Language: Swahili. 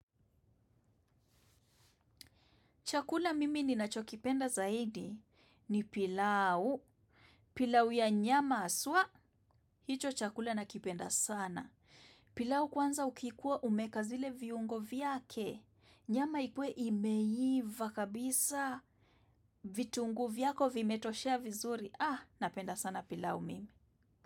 Chakula mimi ninacho kipenda zaidi ni pilau. Pilau ya nyama haswa, hicho chakula nakipenda sana. Pilau kwanza ukikuwa umeweka zile viungo vyake. Nyama ikuwe imeiva kabisa. Vitunguu vyako vimetoshea vizuri. Napenda sana pilau mimi.